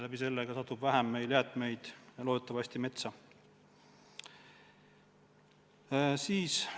Sel juhul satub meil loodetavasti vähem jäätmeid metsa.